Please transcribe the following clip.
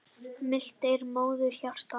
Milt er móðurhjarta.